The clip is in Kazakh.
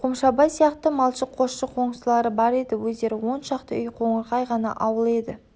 қомшабай сияқты малшы қосшы қоңсылары бар өздері он шақты үй қоңырқай ғана ауыл еді